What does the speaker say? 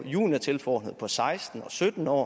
juniortilforordnede på seksten og sytten år